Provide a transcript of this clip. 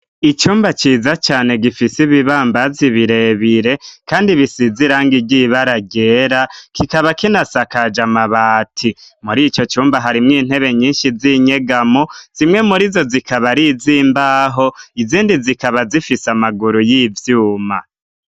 icumba ciza cane gifise ibibambazi birebire kandi bisizirangi ry'ibara ryera, kikaba kinasakaje amabati. muri ico cumba harimwo intebe nyinshi z'inyegamo, zimwe muri zo zikaba arizimbaho, izindi zikaba zifise amaguru y'ivyuma.